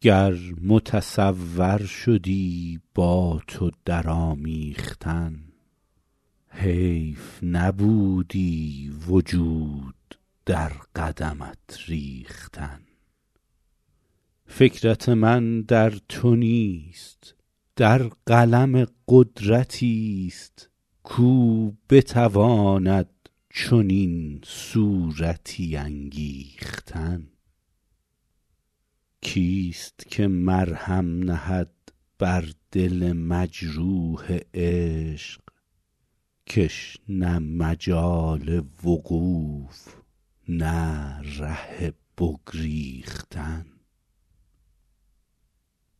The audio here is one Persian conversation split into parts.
گر متصور شدی با تو در آمیختن حیف نبودی وجود در قدمت ریختن فکرت من در تو نیست در قلم قدرتی ست کاو بتواند چنین صورتی انگیختن کی ست که مرهم نهد بر دل مجروح عشق که ش نه مجال وقوف نه ره بگریختن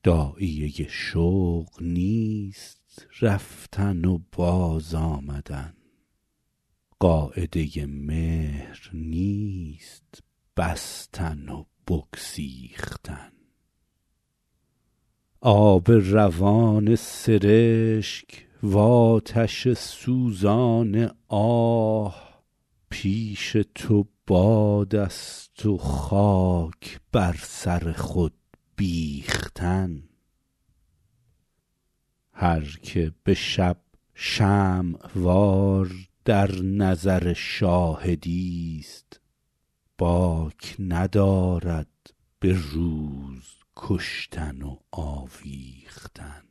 داعیه شوق نیست رفتن و باز آمدن قاعده مهر نیست بستن و بگسیختن آب روان سرشک وآتش سوزان آه پیش تو باد است و خاک بر سر خود بیختن هر که به شب شمع وار در نظر شاهدی ست باک ندارد به روز کشتن و آویختن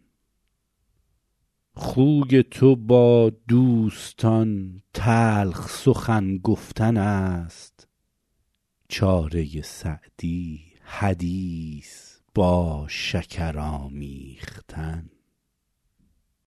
خوی تو با دوستان تلخ سخن گفتن است چاره سعدی حدیث با شکر آمیختن